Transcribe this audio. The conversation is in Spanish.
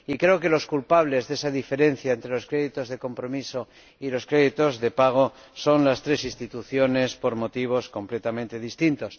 Y creo que los culpables de esa diferencia entre los créditos de compromiso y los créditos de pago son las tres instituciones por motivos completamente distintos.